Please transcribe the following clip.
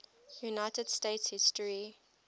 united states history